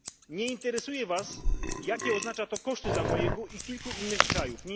Nie interesuje Was, jakie to oznacza koszty dla mojego i kilku innych krajów.